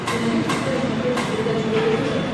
ты найдешь у себя на смотрешке передачу егэ тв